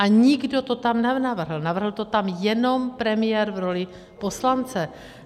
A nikdo to tam nenavrhl, navrhl to tam jenom premiér v roli poslance.